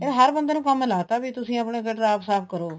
ਹਰ ਬੰਦੇ ਨੂੰ ਕੰਮ ਲਾ ਤਾਂ ਵੀ ਤੁਸੀਂ ਆਪਣੇ ਗਟਰ ਆਪ ਸਾਫ਼ ਕਰੋ